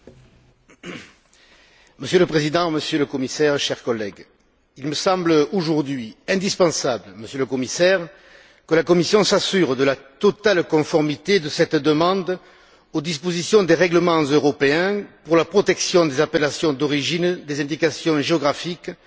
Monsieur le Président, Monsieur le Commissaire, chers collègues, il me semble aujourd'hui indispensable, Monsieur le Commissaire, que la Commission s'assure de la totale conformité de cette demande aux dispositions des règlements européens pour la protection des appellations d'origine, des indications géographiques et des mentions traditionnelles